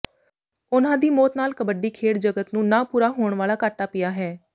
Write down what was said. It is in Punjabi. ਉਨ੍ਹਾਂ ਦੀ ਮੌਤ ਨਾਲ ਕਬੱਡੀ ਖੇਡ ਜਗਤ ਨੂੰ ਨਾ ਪੂਰਾ ਹੋਣ ਵਾਲਾ ਘਾਟਾ ਪਿਆ ਹੈ